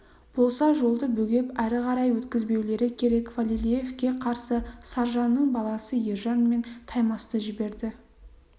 болса жолды бөгеп әрі қарай өткізбеулері керек фалилеевке қарсы саржанның баласы ержан мен таймасты жіберді